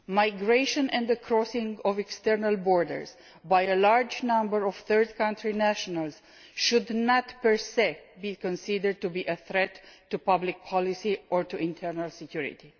Migration and the crossing of external borders by a large number of third country nationals should not per se be considered to be a threat to public policy or to internal security.